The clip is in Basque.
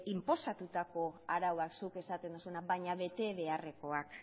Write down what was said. inposatutako arauak zuk esaten duzuna baina bete beharrekoak